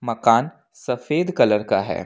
मकान सफेद कलर का है।